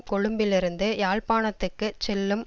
கொழும்பிலிருந்து யாழ்ப்பாணத்துக்கு செல்லும்